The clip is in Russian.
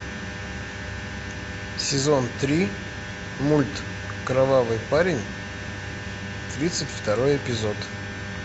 сезон три мульт кровавый парень тридцать второй эпизод